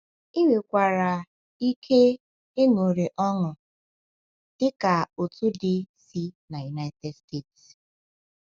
Ị nwekwara ike ịṅụrị ọṅụ, dị ka otu di si n’United States.